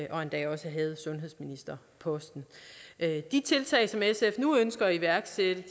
og endda også havde sundhedsministerposten de tiltag som sf nu ønsker at iværksætte